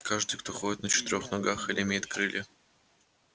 каждый кто ходит на четырёх ногах или имеет крылья